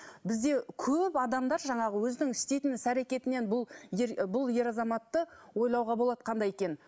бізде көп адамдар жаңағы өзінің істейтін іс әрекетінен бұл бұл ер азаматты ойлауға болады қандай екенін